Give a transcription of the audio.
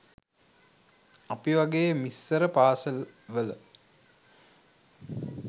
අපි වගේ මිස්සර පාසැල් වල